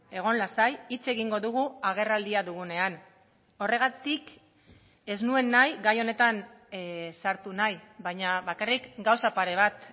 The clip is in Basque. egon lasai hitz egingo dugu agerraldia dugunean horregatik ez nuen nahi gai honetan sartu nahi baina bakarrik gauza pare bat